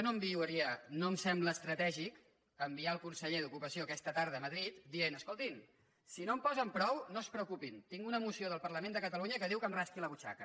no em sembla estratègic enviar el conseller d’ocupació aquesta tarda a madrid per dir escoltin si no en posen prou no es preocupin tinc una moció del parlament de catalunya que diu que em rasqui la butxaca